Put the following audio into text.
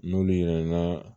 N'olu ye n ka